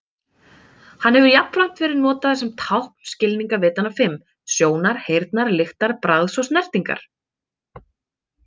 Hann hefur jafnframt verið notaður sem tákn skilningarvitanna fimm: Sjónar, heyrnar, lyktar, bragðs og snertingar.